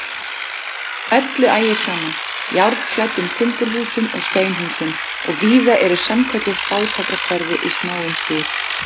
Öllu ægir saman, járnklæddum timburhúsum og steinhúsum, og víða eru sannkölluð fátækrahverfi í smáum stíl.